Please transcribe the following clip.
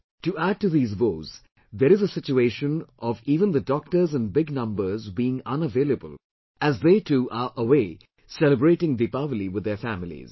To add to these woes, there is a situation of even the doctors in big numbers being unavailable as they too are away celebrating Deepawali with their families